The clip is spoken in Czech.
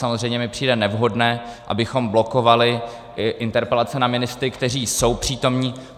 Samozřejmě mi přijde nevhodné, abychom blokovali interpelace na ministry, kteří jsou přítomni.